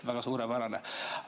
Väga suurepärane!